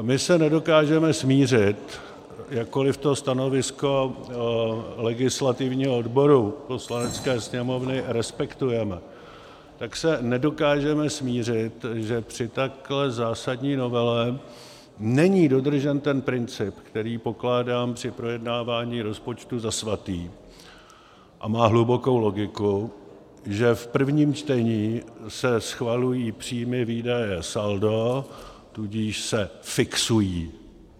My se nedokážeme smířit, jakkoli to stanovisko legislativního odboru Poslanecké sněmovny respektujeme, tak se nedokážeme smířit, že při takhle zásadní novele není dodržen ten princip, který pokládám při projednávání rozpočtu za svatý a má hlubokou logiku, že v prvním čtení se schvalují příjmy, výdaje, saldo, tudíž se fixují